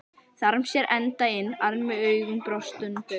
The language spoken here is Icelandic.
Þarm sér enda inn armi augum brostnum drauga.